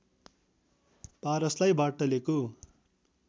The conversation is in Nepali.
पारसलाई बार्टलेको